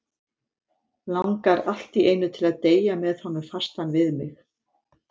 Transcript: Langar allt í einu til að deyja með hann fastan við mig.